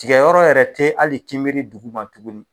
Tigɛyɔrɔ yɛrɛ te ali kinbiri duguma tuguni